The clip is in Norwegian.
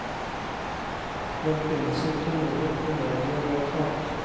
Den finnes ikke i noe kollegievedtak.